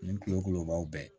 Nin kulokubaw bɛɛ